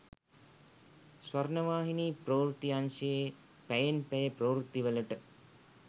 ස්වර්ණවාහිනී ප්‍රවෘත්ති අංශයේ පැයෙන් පැය ප්‍රවෘත්තිවලට